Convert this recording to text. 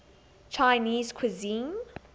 chinese cuisine